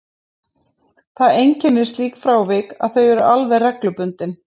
Það einkennir slík frávik að þau eru alveg reglubundin.